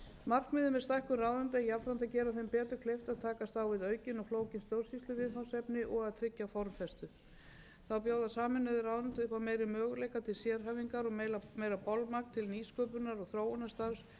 markmiðið með stækkun ráðuneyta er jafnframt að gera þeim betur kleift að takast á við aukin og flókin stjórnsýsluviðfangsefni og að tryggja formfestu þá bjóða sameinuð ráðuneyti upp á meiri möguleika til sérhæfingar og meira bolmagn til nýsköpunar og þróunarstarfs